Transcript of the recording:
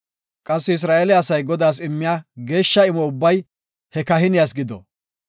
Qassi Isra7eele asay Godaas immiya geeshsha imo ubbay he kahiniyas gido.